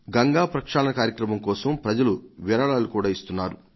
గంగా ప్రక్షాళన కార్యక్రమం కోసం ప్రజలు విరాళాలు కూడా ఇస్తున్నారు